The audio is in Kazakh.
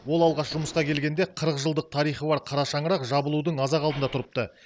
ол алғаш жұмысқа келгенде қырық жылдық тарихы бар қара шаңырақ жабылудың аз ақ алдында тұрыпты